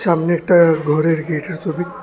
সামনে একটা ঘরের গেটের সবি--